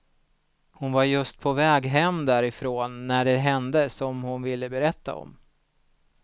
Hon var just på väg hem därifrån när det hände som hon ville berätta om.